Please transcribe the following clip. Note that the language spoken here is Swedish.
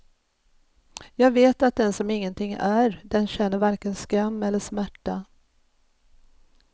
Jag vet att den som ingenting är, den känner varken skam eller smärta.